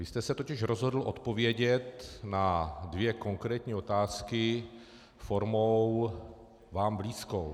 Vy jste se totiž rozhodl odpovědět na dvě konkrétní otázky formou vám blízkou.